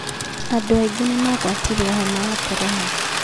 Andũ aingĩ nĩmarwarĩtio homa ya korona